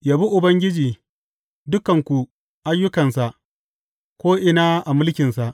Yabi Ubangiji, dukanku ayyukansa ko’ina a mulkinsa.